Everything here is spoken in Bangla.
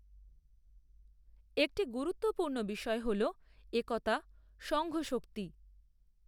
একটি গুরুত্বপূর্ণ বিষয় হল একতা, সঙ্ঘশক্তি।